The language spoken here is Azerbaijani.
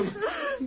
Tək mən yaptım.